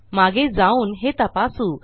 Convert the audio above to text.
मागे जाऊन हे तपासू